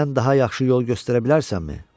Sən daha yaxşı yol göstərə bilərsənmi?